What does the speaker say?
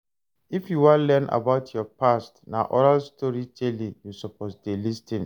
If you wan learn about your past, na oral storytelling you suppose dey lis ten to.